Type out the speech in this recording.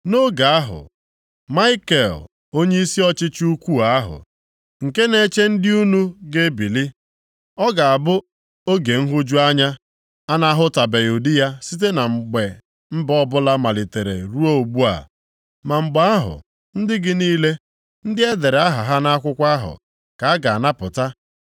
“Nʼoge ahụ, Maikel, onyeisi ọchịchị ukwuu ahụ, nke na-eche ndị unu, ga-ebili. Ọ ga-abụ oge nhụju anya, a na-ahụtụbeghị ụdị ya site na mgbe mba ọbụla malitere ruo ugbu a. Ma mgbe ahụ, ndị gị niile, ndị e dere aha ha nʼakwụkwọ ahụ, ka a ga-anapụta.